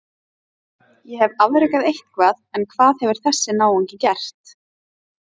Ég hef afrekað eitthvað en hvað hefur þessi náungi gert?